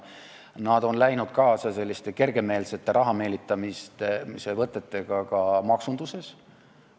Nad on läinud kaasa kergemeelsete raha meelitamise võtetega ka maksunduses.